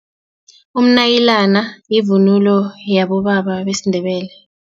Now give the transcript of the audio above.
Umnayilani yivunulo yabobaba besiNdebele.